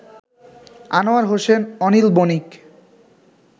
Anwar Hossain, Anil Banik